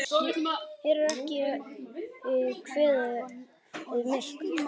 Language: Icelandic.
Hér er ekki kveðið myrkt.